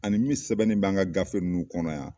Ani min sɛbɛnnen bɛ an ka gafe ninnu kɔnɔ yan